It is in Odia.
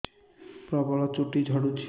ପ୍ରବଳ ଚୁଟି ଝଡୁଛି